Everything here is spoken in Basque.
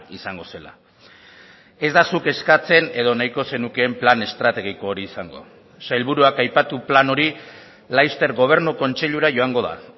izango zela ez da zuk eskatzen edo nahiko zenukeen plan estrategiko hori izango sailburuak aipatu plan hori laster gobernu kontseilura joango da